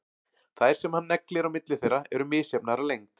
Þær sem hann neglir á milli þeirra eru misjafnar að lengd.